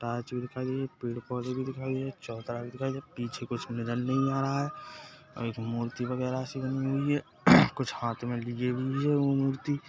torch भी दिखाई दे रही है पेड़-पौधे भी दिखाई दे रही है चबूतरा भी दिखाई दे रही है पीछे कुछ नज़र नही आ रहा है और एक मूर्ति वगेरा सी बनी हुई है कुछ हाथ में लिए हुए है वो मूर्ती --